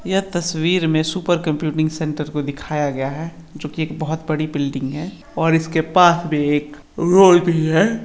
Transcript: ये तस्वीर में सुपर कम्प्युटिंग सेंटर को दिखाया गया है जो कि एक बहोत बड़ी बिल्डिंग है और इसके पास में एक रोड भी हैं।